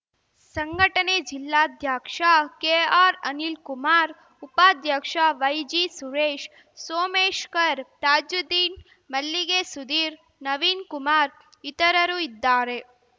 ಸಂಘಟನೆ ಜಿಲ್ಲಾಧ್ಯಕ್ಷ ಕೆಆರ್‌ಅನಿಲ್‌ ಕುಮಾರ್‌ ಉಪಾಧ್ಯಕ್ಷ ವೈಜಿಸುರೇಶ್‌ ಸೋಮಶ್ಕರ್ ತಾಜ್ಜುದ್ದೀನ್‌ ಮಲ್ಲಿಗೆ ಸುಧೀರ್‌ ನವೀನ್‌ ಕುಮಾರ್‌ ಇತರರು ಇದ್ದಾರೆ